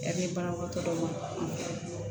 Yani banabagatɔ dɔ ma